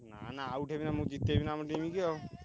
ନା ନା out ହେବିନାଁ ମୁଁ ଜିତେଇବି ନାଁ ଆମ team କି ଆଉ।